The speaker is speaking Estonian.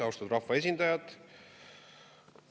Austatud rahvaesindajad!